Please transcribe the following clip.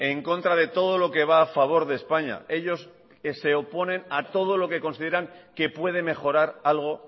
en contra de todo lo que va a favor de españa ellos se oponen a todo lo que consideran que puede mejorar algo